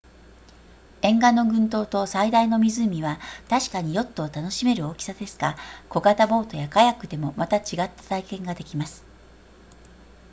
沿岸の群島と最大の湖は確かにヨットを楽しめる大きさですが小型ボートやカヤックでもまた違った体験ができます